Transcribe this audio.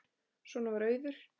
Svona var Auður.